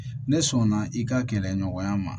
Ne sɔnna i ka kɛlɛ ɲɔgɔnya ma